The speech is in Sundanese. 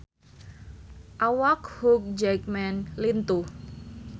Awak Hugh Jackman lintuh